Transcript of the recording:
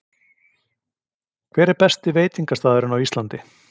Hver er besti veitingastaðurinn á Íslandi?